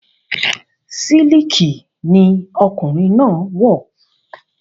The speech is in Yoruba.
Sílìkì ni ọkùnrin náà wọ̀